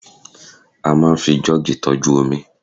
a ma n fi jug tọju omi